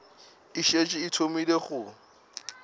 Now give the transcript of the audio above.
e šetše e thomile go